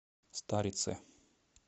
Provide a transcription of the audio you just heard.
старице